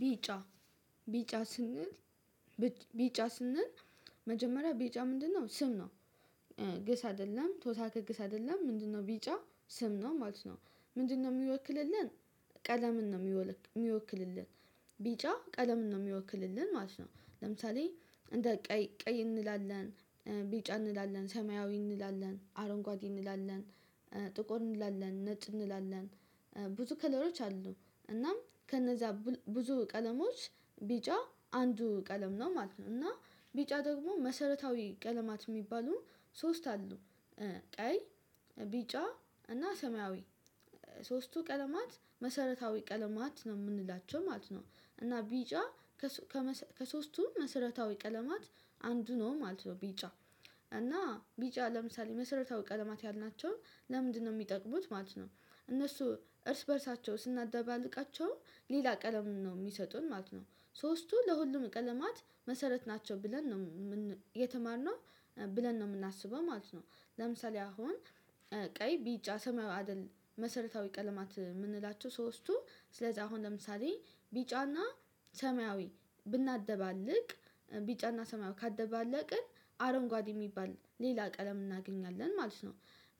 ቢጫ ቢጫ ስንል ቢጫ ስንል መጀመሪያ ቢጫ ምንድነው ስም ነው። ግስ አይደለም ተወሳከ ግስ አይደለም ምንድነው ቢጫ ስም ነው ማለት ነው? ምንድነው የሚወክልልን ቀለምን ነው የሚወክልልን ቢጫ ቀለምን ነው የሚወክልልን ማለት ነው። ለምሳሌ እንደ ቀይ ቀይ እንላለን ቢጫ እንላለን ሰማያዊ እንላለን አረንጓዴ እንላለን። ጥቆር እንላለን ነጭ እንላለን ብዙ ከለሮች አሉ እናም ከነዛ ብዙ ቀለሞች ቢጫ አንዱ ቀለም ነው ማለት ነው። እና ቢጫ ደግሞ መሰረታዊ ቀለማት የሚባሉ ሶስት አሉ ቀይ ቢጫ እና ሰማያዊ ሶስቱ ቀለማት መሰረታዊ ቀለማት ነው የምንላቸው ማለት ነው። እና ቢጫ ከሶስቱ መሰረታዊ ቀለማት አንዱ ነው ማለት ነው። ቢጫ እና ቢጫ ለምሳሌ መሰረታዊ ቀለማት ያልናቸው ለምንድነው የሚጠቅሙት ማለት ነው? እነሱ እርስ በእርሳቸው ስናደባልቃቸው ሌላ ቀለም ነው የሚሰጡን ማለት ነው ሶስቱ ለሁሉም ቀለማት መሰረት ናቸው ብለን ነው የተማርነው ብለን ነው የምናስበው ማለት ነው። ለምሳሌ አሁን ቀይ ቢጫ ሰማያዊ አይደል መሰረታዊ ቀለማት የምንላቸው ሶስቱ ስለዚህ አሁን ለምሳሌ ቢጫና ሰማያዊ ብናደባልቅ ቢጫና ሰማያዊ ካደባለቅን አረንጓዴ የሚባል ሌላ ቀለም እናገኛለን ማለት ነው።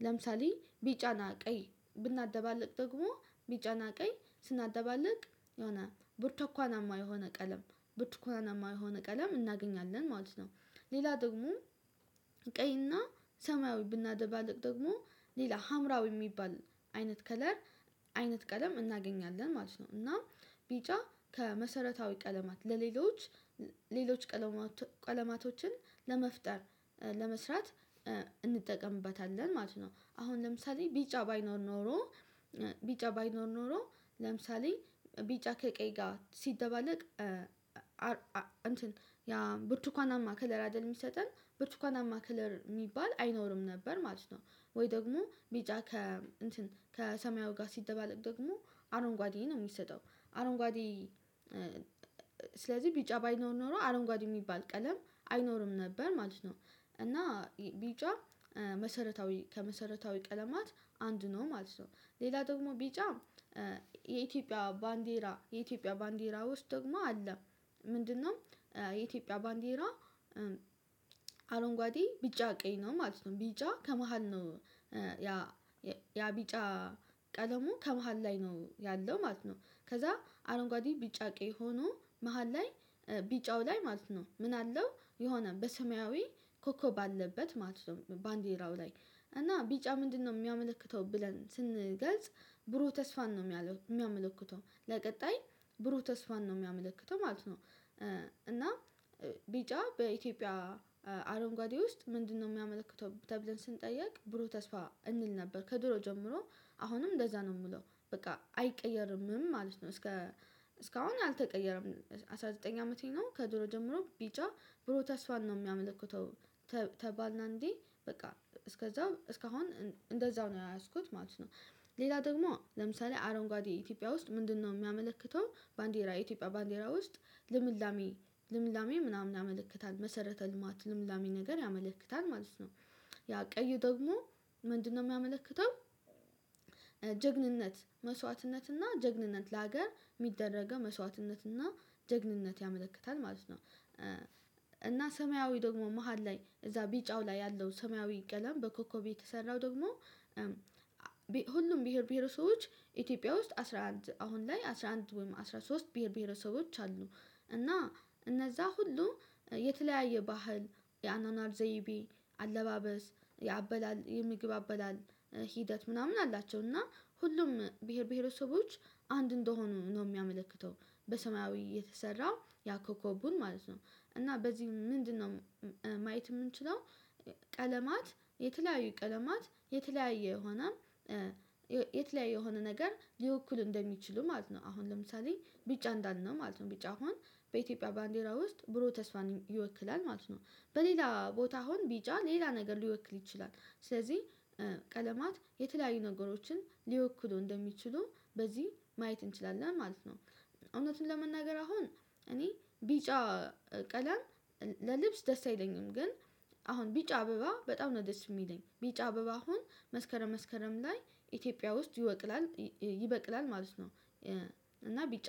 ለምሳሌ ቢጫና ቀይ ብናደባልቅ ደግሞ ቢጫና ቀይ ስናደባልቅ የሆነ ብርቱ ኳናማ የሆነ ቀለም ብርቱኳናማ የሆነ ቀለም እናገኛለን ማለት ነው። ሌላ ደግሞ ቀይና ሰማያዊ ብናደባልቅ ደግሞ ሌላ ሀምራዊ የሚባል አይነት ከለር አይነት ቀለም እናገኛለን ማለት ነው። እና ቢጫ ከመሰረታዊ ቀለማት ለሌሎች ሌሎች ቀለማቶችን ለመፍጠር ለመስራት እንጠቀምበታለን ማለት ነው። አሁን ለምሳሌ ቢጫ ባይኖር ኖሮ ቢጫ ባይኖር ኖሮ ለምሳሌ ቢጫ ከቀይ ጋር ሲደባለቅ እንትን ያ ብርቱካናማ ከለራ አይደል የሚሰጠን ብርቱካናማ ክለር የሚባል አይኖርም ነበር ማለት ነው። ወይ ደግሞ ቢጫ ከ እንትን ከሰማያዊ ጋር ሲደባለቅ ደግሞ አረንጓዴ ነው የሚሰጠው አረንጓዴ ስለዚህ ቢጫ ባይኖሮ ኖር አረንጓዴ የሚባል ቀለም አይኖርም ነበር ማለት ነው። እና ቢጫ መሰረታዊ ከመሰረታዊ ቀለማት አንድ ነው ማለት ነው። ሌላ ደግሞ ቢጫ የኢትዮጵያ ባንዴራ የኢትዮጵያ ባንዲራ ውስጥ ደግሞ አለ። ምንድነው የኢትዮጵያ ባንዲራ አረንጓዴ ቢጫ ቀይ ነው ማለት ነው። ቢጫ ከመሃል ነው ያ ያ ቢጫ ቀለሙ ከመሃል ላይ ነው ያለው ማለት ነው። ከዛ አረንጓዴ ቢጫ ቀይ ሆኖ መሃል ላይ ቢጫው ላይ ማለት ነው ምን አለው የሆነ በሰማያዊ ኮከብ አለበት ማለት ነው። ባንዲራው ላይ እና ቢጫ ምንድነው የሚያመለክተው ብለን ስንገልጽ ብሩህ ተስፋን ነው የሚያመለክተው ለቀጣይ ብሩህ ተስፋን ነው የሚያመለክተው ማለት ነው። እና ቢጫ በኢትዮጵያ አረንጓዴው ውስጥ ምንድነው የሚያመለክተው ተብለን ስንጠየቅ ብሩ ተስፋ እንል ነበር ከድሮ ጀምሮ አሁንም እንደዛ ነው የምለው በቃ አይቀየርምም ማለት ነው። እስከ እስካሁን አልተቀየረም አስራ ዘጠኝ አመቴ ነው ከድሮ ጀምሮ ቢጫ ብሩህ ተስፋን ነው የሚያመለክተው ተባልን አንዴ በቃ እስከዛ እስካሁን እንደዛው ነው ያያዝኩት ማለት ነው። ሌላ ደግሞ ለምሳሌ አረንጓዴ ኢትዮጵያ ውስጥ ምንድነው የሚያመለክተው ባንዲራ የኢትዮጵያ ባንዲራ ውስጥ ልምላሜ ልምላሜ ምናምን ያመለክታል መሰረተ ልማት ልምላሜ ነገር ያመለክታል ማለት ነው። ያ ቀይ ደግሞ ምንድነው የሚያመለክተው ጀግንነት መስዋዕትነትና ጀግንነት ለሀገር የሚደረገው መስዋዕትነትና ጀግንነት ያመለክታል ማለት ነው። እና ሰማያዊ ደግሞ መሃል ላይ እዛ ቢጫው ላይ ያለው ሰማያዊ ቀለም በኮከብ የተሰራው ደግሞ ሁሉም ብሄር ብሄር ሰዎች ኢትዮጵያ ውስጥ አስራ አንድ አሁን ላይ አስራ አንድ ወይም አስራ ሶስት ብሄር ብሄረሰቦች አሉ እና እነዛ ሁሉ የተለያየ ባህል የአኗኗር ዘይቤ አለባበስ የአበላል የምግብ አበላል ሂደት ምናምን አላቸው እና ሁሉም ብሄር ብሄረሰቦች አንድ እንደሆኑ ነው የሚያመለክተው በሰማያዊ የተሰራ ያኮኮቡን ማለት ነው። እና በዚህ ምንድነው ማየት የምንችለው ቀለማት የተለያዩ ቀለማት የተለያየ የሆነ የተለያየ የሆነ ነገር ሊወክል እንደሚችሉ ማለት ነው። አሁን ለምሳሌ ቢጫ እንዳለ ነው ማለት ነው ቢጫ አሁን በኢትዮጵያ ባንዲራ ውስጥ ብሩህ ተስፋን ይወክላል ማለት ነው። በሌላ ቦታው አሁን ቢጫ ሌላ ነገር ሊወክል ይችላል ስለዚህ ቀለማት የተለያዩ ነገሮችን ሊወክሉ እንደሚችሉ በዚህ ማየት እንችላለን ማለት ነው። እውነቱን ለመናገር አሁን እኔ ቢጫ ቀለም ለልብስ ደስ አይለኝም ግን አሁን ቢጫ አበባ በጣም ነው ደስ የሚለኝ ቢጫ አበባ አሁን መስከረም መስከረም ላይ ኢትዮጵያ ውስጥ ይወቅላል ይበቅላል ማለት ነው። እና ቢጫ